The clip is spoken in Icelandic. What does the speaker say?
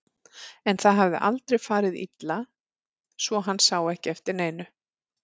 En það hafði aldrei farið illa svo hann sá ekki eftir neinu.